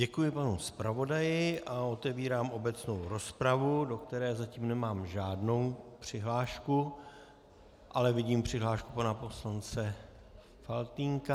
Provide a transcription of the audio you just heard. Děkuji panu zpravodaji a otevírám obecnou rozpravu, do které zatím nemám žádnou přihlášku, ale vidím přihlášku pana poslance Faltýnka.